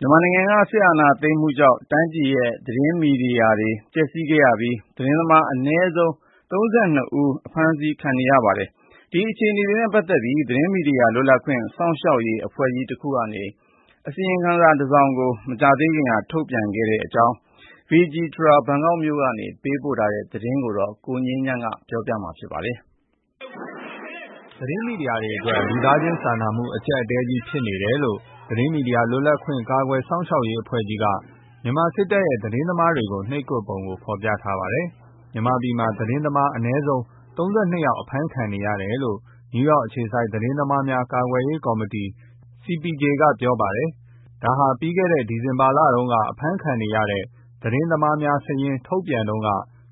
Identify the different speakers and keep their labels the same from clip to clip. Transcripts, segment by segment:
Speaker 1: မြန်မာနိုင်ငံက စစ်အာဏာသိမ်းမှုကြောင့် တိုင်းပြည်ရဲ့ သတင်းမီဒီယာတွေ ပျက်စီးခဲ့ရပြီး သတင်းသမား အနည်းဆုံး ၃၂ ယောက်လည်း အဖမ်းခံနေရပါတယ်။ ဒီအခြေအနေတွေ နဲ့ပတ်သက်ပြီး သတင်းမီဒီယာလွတ်လပ်ခွင့် ကာကွယ်စောင့်ရှောက်ရေးအဖွဲ့ကြီး တခုက အစီရင်ခံစာတစောင် ထုတ်ပြန်ထားတဲ့အကြောင်း Vijitra Duangdee ဘန်ကောက်က သတင်းပေးပို့ထားတာကို ကိုငြိမ်းချမ်းက ပြောပြမှာပါ။ သတင်းမီဒီယာတွေ အတွက် လူသားချင်းစာနာမှုအကြပ်အတည်းကြီး ဖြစ်နေတယ်လို့ သတင်းမီဒီယာလွတ်လပ်ခွင့် ကာကွယ်စောင့်ရှောက်ရေးအဖွဲ့ကြီးက မြန်မာစစ်တပ်ရဲ့ သတင်းသမားတွေကို နှိပ်ကွပ်ပုံဖော်ပြပါတယ်။ မြန်မာပြည်မှာ သတင်းသမားအနည်းဆုံး ၃၂ ယောက် အဖမ်းခံနေရတယ်လို့ နယူးယောက်အခြေစိုက် သတင်းသမားများ ကာကွယ်ရေး ကော်မတီ CPJ က ပြောတာပါ။ ဒါဟာ ပြီးခဲ့တဲ့ ဒီဇင်ဘာလတုန်းက အဖမ်းခံနေရတဲ့ သတင်းသမားများစာရင်း ထုတ်ပြန်တုန်းက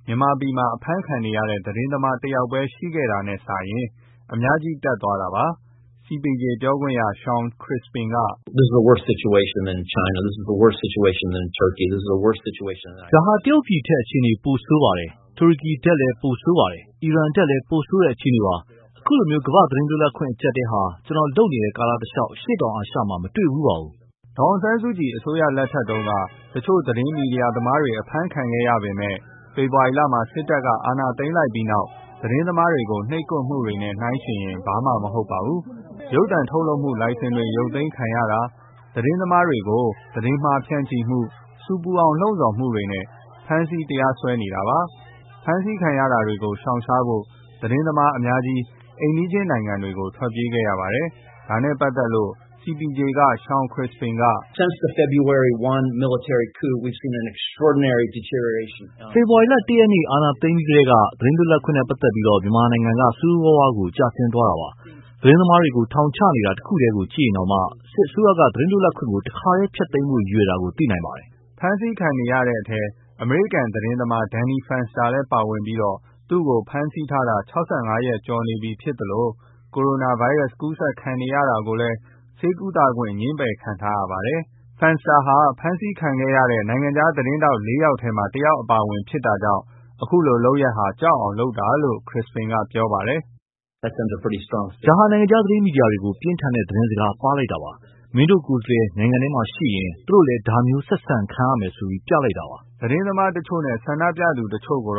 Speaker 1: မြန်မာပြည်မှာ အဖမ်းခံရတဲ့ သတင်းသမား ၁ ယောက်ပဲ ရှိခဲ့တာ နဲ့ စာရင် အများကြီး တက်သွားတာပါ။ CPJ က ပြောခွင့်ရ Shawn Crispin က -
Speaker 2: " ဒါဟာ တရုတ်ပြည်ထက် အခြေအနေပိုဆိုးပါတယ်။ တူရီကထက်လည်း ပိုဆိုးပါတယ်။ အီရန်ထက်လည်း ပိုဆိုးတဲ့ အခြေအနေပါ။ အခုလို ကမ္ဘာ့သတင်း
Speaker 1: လွတ်လပ်ခွင့် အကျပ်အတည်းဟာ ကျနော် လုပ်နေတဲ့ ကာလတလျောက် အရှေ့တောင်အာရှ မှာ မတွေ့ဖူးပါဘူး။ " ဒေါ်အောင်ဆန်းစုကြည်အစိုးရ လက်ထက်တုန်းကလည်း တချို့သတင်းမီဒီယာသမားတွေ အဖမ်းခံခဲ့ရပေမဲ့ ဖေဖော်ဝါရီလ မှာ စစ်တပ်က အာဏာသိမ်းလိုက်ပြီး သတင်းသမားတွေကို နှိပ်ကွပ်မှုနဲ့ နှိုင်းယှဉ်ရင် ဘာမှ မဟုတ်ပါဘူး။ ရုပ်သံထုတ်လုပ်မှုလိုင်စင်တွေ ရုတ်သိမ်းခံရတာ၊ သတင်းသမားတွေ ကို သတင်းမှားဖြန့်မှု၊ ဆူပူအောင် လှုံဆော်မှုတွေ နဲ့ ဖမ်းဆီး တရားစွဲနေတာပါ။ ဖမ်းဆီးခံရတာကို ရှောင်ရှားဖို့ သတင်းသမားအများကြီး အိမ်နီးချင်းနိုင်ငံတွေကို ထွက် ပြေးရပါတယ်။ ဒါနဲ့ပတ်သက်လို့ CPJ က Shawn Crispin က - " ဖေဖော်ဝါရီလ ၁ ရ
Speaker 2: က်နေ့ အာဏာသိမ်းပြီးကတည်းက သတင်းလွတ်လပ်ခွင့်နဲ့ ပတ်သက်ပြီး မြန်မာပြည်က ဆိုးဆိုးရွားရွားကျဆင်းသွားတာပါ။ သတင်းသမားတွေကို ထောင်ချနေတာတခုတည်းကို ကြည့်ရင်တောင် စစ်အစိုးရက သတင်းလွတ်လပ်ခွင့် ကို တခါတည်းဖျက်သိမ်းဖို့ ရည်ရွယ်တာကို သိနိုင်ပါတယ်
Speaker 1: ။" ဖမ်းဆီးခံနေရတဲ့အထဲ အမေရိကန် သတင်းသမား Danny Fenster လည်းပါဝင်ပြီး သူ့ကို ဖမ်းဆီးထာတာ ၆၅ ရက် ကျော်နေပြီဖြစ်သလို ကိုရိုနာဗိုင်းရပ်စ် ကူးစက်နေတာကိုလည်း ဆေးကုသခွင့် ငြင်းပယ်ခံထားရပါတယ်။ Fenster ဟာ ဖမ်းဆီးခံခဲ့ရတဲ့ နိုင်ငံခြားသတင်းထောက် ၄ ယောက်ထဲမှာ တယောက်အပါအဝင်ဖြစ်တာကြောင့်ဒီလို လုပ်ရပ်ဟာ ကြောက်အောင် လုပ်တာလို့ Crispin က ပြောပါတယ်။ "
Speaker 2: ဒါဟာ နိုင်ငံခြားသတင်းမီဒီယာတွေကို ပြင်းထန်တဲ့ သတင်းစကားပါးလိုက်တာပါ။ မင်းတို့ကိုယ်စားလှယ်နိုင်ငံထဲမှာ ရှိရင
Speaker 1: ် သူတို့လည်း ဒါမျိုးဆက်ဆံခံရမယ်လို့ ပြလိုက်တာပါ။" သတင်းသမားတချို့ နဲ့ ဆန္ဒပြသူတချို့ကို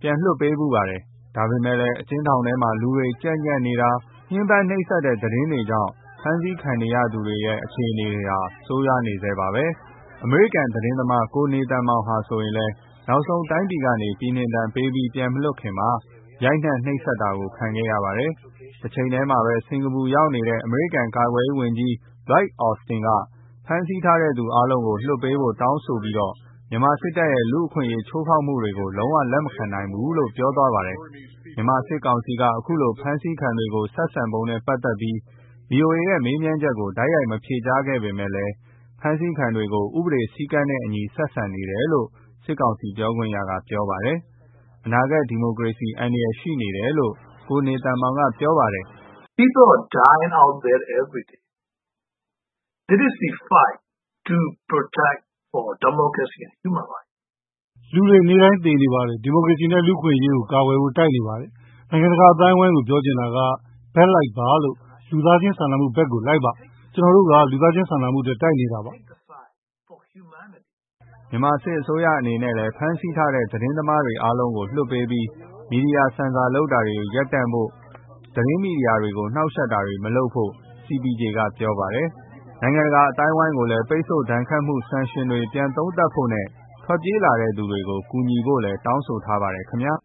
Speaker 1: ပြန်လွှတ်ပေးဖူးပါတယ်။ ဒါပေမဲ့လည်း အကျဉ်းထောင်ထဲ လူတွေ ကြပ်ညှပ်နေတာ၊ ညှင်းပန်းနှိပ်စက်မှုသတင်းတွေကြောင့်ဖမ်းဆီးခံနေရသူတွေရဲ့ အခြေအနေတွေ ဟာ ဆိုးရွားနေဆဲပါပဲ။ အမေရိကန် သတင်းမသား နေသန်မောင်ဆိုရင်လည်း နောက်ဆုံးတိုင်းပြည်က ပြည်နှင်ဒဏ်ပေးပြီး ပြန်မလွှတ်ခင်မှာ ရိုက်နှက်နှိပ်စက်တာခံခဲ့ရပါတယ်။ တချိန်တည်းမှာပဲ စင်ကာပူရောက်နေတဲ့အမေရိကန် ကာကွယ်ရေးဝန်ကြီး Lloyd Austin က ဖမ်းဆီးထားတဲ့ သူတွေ အားလုံးကို လွှတ်ပေးဖို့ တောင်းဆိုပြီး မြန်မာစစ်တပ်ရဲ့ လူ့အခွင့်အရေးချိုးဖောက်မှုတွေကို လုံးဝလက်မခံနိုင်ဘူး လို့ ပြောသွားပါတယ်။ မြန်မာစစ်ကောင်စီက အခုလို ဖမ်းဆီးခံတွေ ကို ဆက်ဆံပုံ နဲ့ ပတ်သက်ပြီး ဗီအိုအေ ရဲ့ မေးမြန်းချက်ကို တိုက်ရိုက်မဖြေကြားပေမဲ့လည်း ဖမ်းဆီးခံတွေကို ဥပဒေစည်းကမ်း နဲ့ အညီ ဆက်ဆံတယ်လို့ စစ်ကောင်စီ ပြောခွင့်ရက ပြောပါတယ်။ အနာဂတ် ဒီမိုကရေစီ အန္တရာယ်ရှိတယ်လို့ ကိုနေသန်မောင်က ပြောပါတယ်
Speaker 2: ။ "လူတွေ နေ့တိုင်း သေနေပါတယ်။ ဒီမိုက
Speaker 1: ရေစီ နဲ့ လူ့အခွင့်အရေးကို ကာကွယ်ဖို့ တိုက်နေပါတယ်။ နိုင်ငံတကာအသိုင်းအဝိုင်းကို ပြောချင်တာက ဘက်လိုက်ပါ လို့။ လူသားချင်းစာနာမှုဘက်ကို လိုက်ပါ။ ကျနော်တို့က လူသားချင်းစာနာမှုအတွက် တိုက်နေတာပါ။" မြန်မာစစ်အစိုးရ အနေနဲ့လည်း ဖမ်းဆီးထားတဲ့ သတင်းသမားတွေ အားလုံးကို လွှတ်ပေးပြီး မီဒီယာ ဆင်ဆာလုပ်တာ ရပ်တန့်ပြီး၊ မီဒီယာကို နှောက်ယှက်တာတွေ မလုပ်ဖို့ CPJ က ပြောပါတယ်။ နိုင်ငံတကာအသိုင်းဝိုင်းကိုလည်း ပိတ်ဆို့ဒဏ်ခတ်မှု ဆန်ရှင်တွေကို ပြန်သုံးသပ်ဖို့ နဲ့ ထွက်ပြေးလာတဲ့သူတွေကို ကူညီဖို့လည်း တောင်းဆိုထ
Speaker 2: ားပါတယ် ခင်ဗျာ